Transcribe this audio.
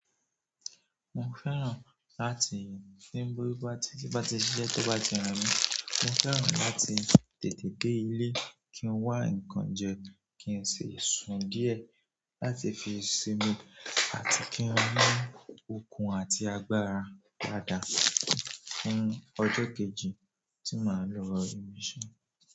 Mo fẹ́ràn láti tí n bó bí bá tí, tí bá ti ṣiṣẹ́, tó bá ti re mí, mo fẹ́ràn láti tètè dé ilé, kí n wá ǹkan jẹ, kí n ṣi sùn díẹ̀ láti fi sinmi àti kí n mú okun àti agbára dáadáa fún ọjọ́ kejì tí màá lọ ibi iṣẹ́.